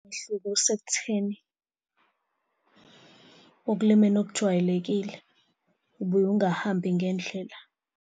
Umehluko usekutheni ekulimeni okujwayelekile, ubuye ungahambi ngendlela.